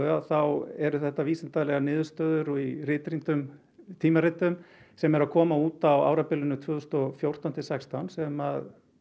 þá eru þetta vísindalegar niðurstöður og birtar í ritrýndum tímaritum sem eru að koma út á árabilinu tvö þúsund og fjórtán til sextán sem